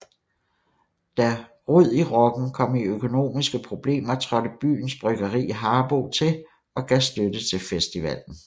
Da Rod i Rocken kom i økonomiske problemer trådte byens bryggeri Harboe til og gav støtte til festivalen